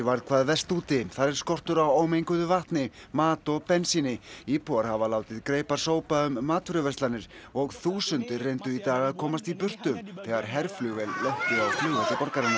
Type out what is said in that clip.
varð hvað verst úti þar er skortur á ómenguðu vatni mat og bensíni íbúar hafa látið greipar sópa um matvöruverslanir og þúsundir reyndu í dag að komast í burtu þegar herflugvél lenti á flugvelli borgarinnar